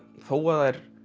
þó að þær